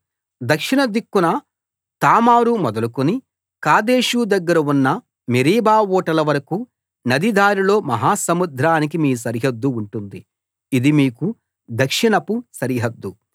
దక్షిణ దిక్కున తామారు మొదలుకుని కాదేషు దగ్గర ఉన్న మెరీబా ఊటల వరకూ నది దారిలో మహాసముద్రానికి మీ సరిహద్దు ఉంటుంది ఇది మీకు దక్షిణపు సరిహద్దు